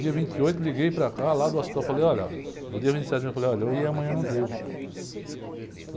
Dia vinte e oito liguei para cá, lá do hospital, falei, olha, no dia vinte e sete eu falei, olha, eu ia amanhã, não deu.